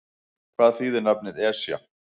Hvað þýðir nafnið Esja?